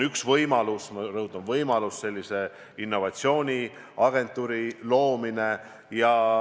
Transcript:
Üks võimalus on – ma rõhutan, võimalus – innovatsiooniagentuuri loomine.